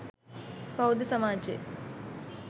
බෞද්ධ සමාජය